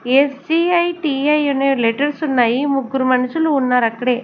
SGITI letters ఉన్నాయి ముగ్గురు మనుషులు ఉన్నారు అక్కడే.